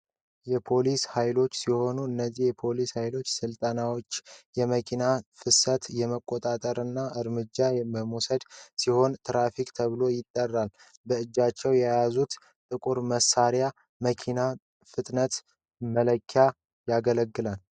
የፖሊስ ኃይሎች ሲሆኑ የነዚህ ፖሊስ ሀይሎች ስልጣናቸውም የመኪና ፍሰት የመቆጣጠርና እርምጃ የመውሰድ ሲሆን ትራፊክ ተብለው ይጠራሉ ።በእጃቸው የያዙት ጥቁር መሳሪያ መኪና ፍጥነት መለኪያነት ያገለግላል ።